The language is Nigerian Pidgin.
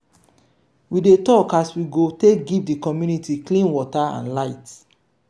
we dey tok as we go take give di community clean water and light.